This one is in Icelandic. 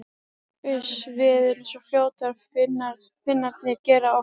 Uss, við verðum svo fljótar, Finnarnir gera okkur ekkert.